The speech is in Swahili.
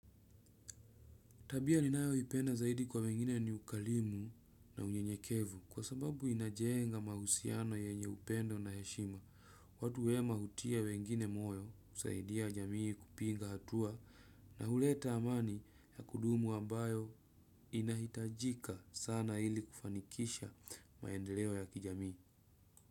Tabia ninayoipenda zaidi kwa wengine ni ukarimu na unyenyekevu kwa sababu inajenga mahusiano yenye upendo na heshima. Watu wema hutia wengine moyo kusaidia jamii kupiga hatua na huleta amani ya kudumu ambayo inahitajika sana ili kufanikisha maendeleo ya kijamii.